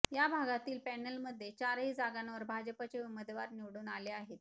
या भागातील पॅनलमध्ये चारही जागांवर भाजपाचे उमेदवार निवडून आले आहेत